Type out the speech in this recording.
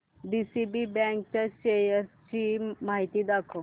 DCB bank च्या शेअर्स ची माहिती दाखव